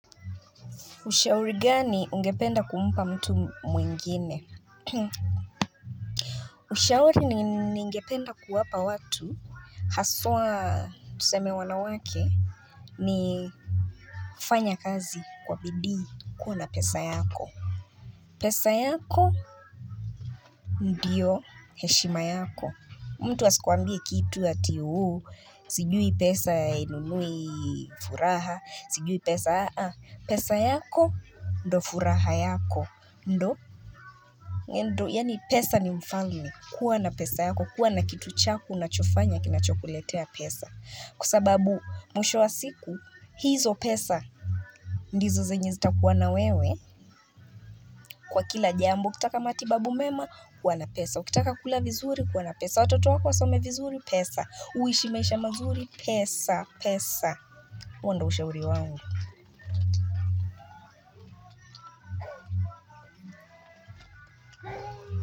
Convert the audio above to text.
Ushauri gani ungependa kumpa mtu mwingine Ushauri ningependa kuwapa watu Haswa tuseme wanawake ni kufanya kazi kwa bidii kuwa na pesa yako pesa yako Ndiyo heshima yako mtu asikuambie kitu ati ooh Sijui pesa hainunui furaha Sijui pesa aa pesa yako ndo furaha yako ndo ndo yaani pesa ni mfalme kuwa na pesa yako kuwa na kitu chako unachofanya kinachokuletea pesa kwa sababu mwisho wa siku hizo pesa ndizo zenye zitakuwa na wewe Kwa kila jambo ukitaka matibabu mema kuwa na pesa ukitaka kula vizuri kuwana pesa watoto wako wasome vizuri pesa uishi maisha mazuri pesa pesa. Huo ndo ushauri wangu.